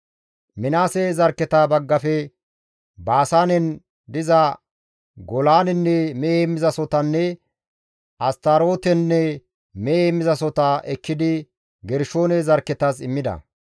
Minaase zarkketa baggafe Baasaanen diza Golaanenne mehe heemmizasohotanne Astarootenne mehe heemmizasohota ekkidi Gershoone zarkketas immida.